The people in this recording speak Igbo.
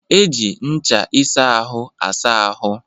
E ji ncha ịsa ahụ asáá ahụ